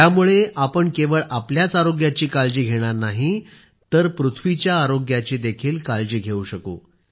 यामुळे आपण केवळ आपल्या आरोग्याची काळजी घेणार नाही तर धरतीच्याही आरोग्याची काळजी घेऊ शकू